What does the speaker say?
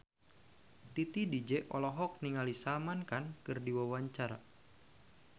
Titi DJ olohok ningali Salman Khan keur diwawancara